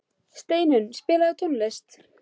Steinunn, spilaðu tónlist.